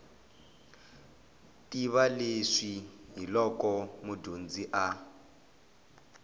tiva leswi hiloko mudyondzi a